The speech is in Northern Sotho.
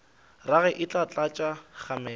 rage e tla tlatša kgamelo